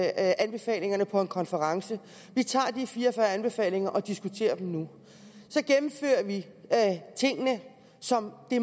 anbefalingerne på en konference vi tager de fire og fyrre anbefalinger og diskuterer dem nu så gennemfører vi tingene som det